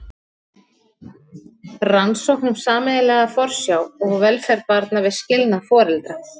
Rannsókn um sameiginlega forsjá og velferð barna við skilnað foreldra.